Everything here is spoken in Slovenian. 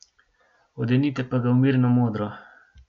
Odenite pa ga v mirno modro.